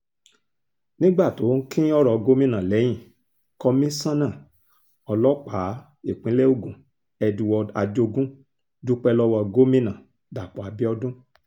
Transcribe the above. nígbà tó ń kín ọ̀rọ̀ gómìnà lẹ́yìn komisanna ọlọ́pàá ìpínlẹ̀ ogun edward ajogun dúpẹ́ lọ́wọ́ gómìnà dapò abiodun